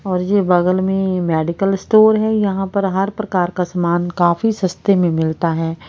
और ये बगल में मेडिकल स्टोर है यहां पर हर प्रकार का सामान काफी सस्ते में मिलता है।